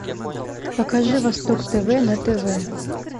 покажи восток тв на тв